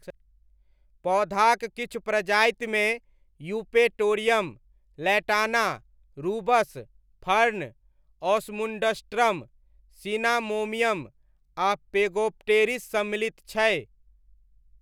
पौधाक किछु प्रजातिमे Eupatorium, Lantana, Rubus, fern, Osmundastrum cinnamomeum आ फेगोप्टेरिस सम्मिलित छै।